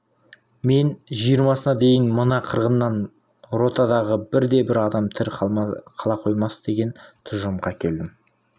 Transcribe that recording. мен жиырмасына дейін мына қырғыннан ротадағы бірде-бір адам тірі қала қоймас деген тұжырымға келдім